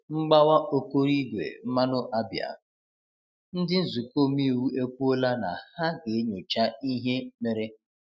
Mgbawa Ọkoroigwe Mmanụ Abia: Ndi nzukọ omeiwu ekwuola na ha ga-enyocha ihe mere.